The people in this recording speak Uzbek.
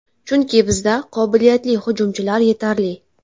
Chunki bizda qobilyatli hujumchilar yetarli”.